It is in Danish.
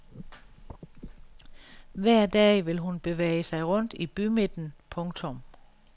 Hver dag vil hun bevæge sig rundt i bymidten. punktum